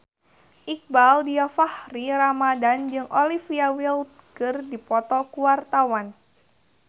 Iqbaal Dhiafakhri Ramadhan jeung Olivia Wilde keur dipoto ku wartawan